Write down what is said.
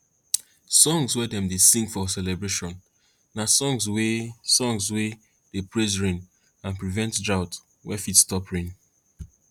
songs wey dem dey sing for celebration na songs wey songs wey dey praise rain and prevent drought wey fit stop rain